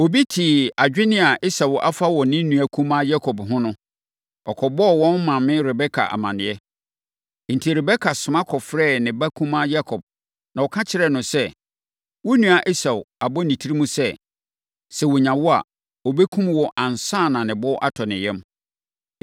Obi tee adwene a Esau afa wɔ ne nua kumaa Yakob ho no, ɔkɔbɔɔ wɔn maame Rebeka amanneɛ. Enti, Rebeka soma kɔfrɛɛ ne ba kumaa Yakob, na ɔka kyerɛɛ no sɛ, “Wo nua Esau abɔ ne tirim sɛ, sɛ ɔnya wo a, ɔbɛkum wo ansa na ne bo atɔ ne yam.